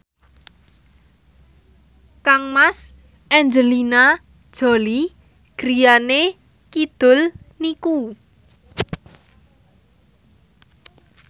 kangmas Angelina Jolie griyane kidul niku